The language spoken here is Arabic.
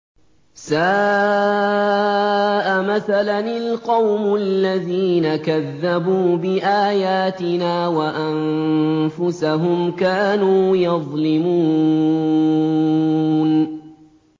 سَاءَ مَثَلًا الْقَوْمُ الَّذِينَ كَذَّبُوا بِآيَاتِنَا وَأَنفُسَهُمْ كَانُوا يَظْلِمُونَ